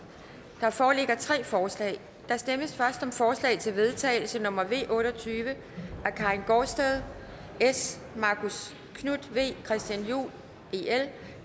der foreligger tre forslag der stemmes først om forslag til vedtagelse nummer v otte og tyve af karin gaardsted marcus knuth christian juhl